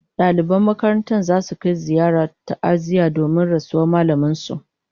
Daliban makarantar zasu kai ziyarar ta'aziyya domin rasuwar mallamin su